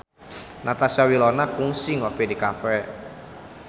Natasha Wilona kungsi ngopi di cafe